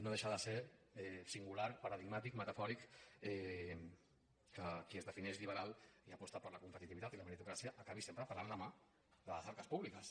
no deixa de ser singular paradigmàtic metafòric que qui es defineix liberal i aposta per la competitivitat i la meritocràcia acabi sempre parant la mà de les arques públiques